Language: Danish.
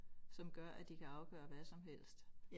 Som gør at de kan afgøre hvad som helst